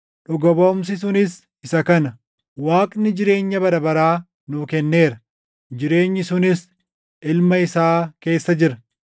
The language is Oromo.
Dhuga baʼumsi sunis isa kana: Waaqni jireenya bara baraa nuu kenneera; jireenyi sunis Ilma isaa keessa jira.